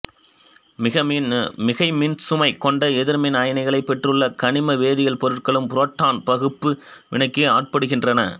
மிகைமின்சுமை கொண்ட எதிர்மின் அயனிகளைப் பெற்றுள்ள கனிம வேதியியல் பொருட்களும் புரோட்டான் பகுப்பு வினைக்கு ஆட்படுகின்றன